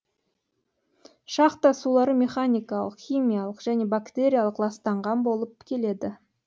шахта сулары механикалық химиялық және бактериялық ластанған болып келеді